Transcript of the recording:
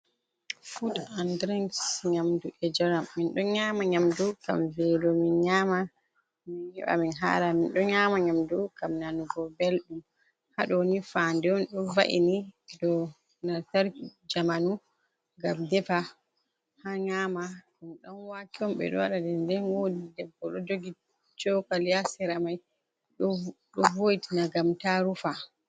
Fud an drings nyamdu e jaram min ɗo nyama nyamdu ngam velo min nyama min heɓa min hara min ɗo nyama nyamdu ngam nanugo belɗum ha do nifa ndeon don va’ini lantarki jamanu ngam defa ha nyama ɗum ɗan wake on ɓe ɗo waɗa ɗum nde wodi debbo ɗo jogi chokali ha sira mai ɗo vo'itina ngam ta rufa.